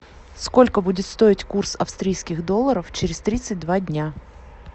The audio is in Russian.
сколько будет стоить курс австрийских долларов через тридцать два дня